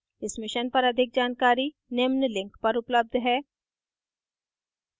इस mission पर अधिक जानकारी निम्न link पर उपलब्ध है: